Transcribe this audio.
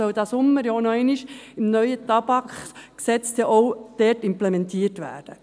Diesen Sommer soll diese ja nochmals im neuen Tabakgesetz implementiert werden.